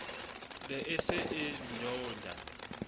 ne e se e nyeunya